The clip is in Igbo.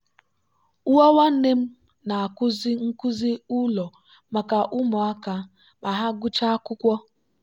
nwa nwanne m na-akụzi nkuzi ụlọ maka ụmụaka ma ha gụchaa akwụkwọ.